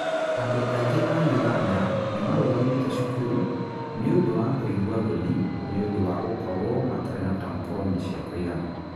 Andũ aingĩ a Uganda nĩ marũgamĩte cukuru nĩ ũndũ wa kũigua thoni nĩ ũndũ wa gũkorũo matarĩ na tamponi cia kũigana.